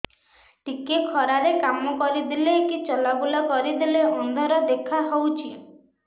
ଟିକେ ଖରା ରେ କାମ କରିଦେଲେ କି ଚଲବୁଲା କରିଦେଲେ ଅନ୍ଧାର ଦେଖା ହଉଚି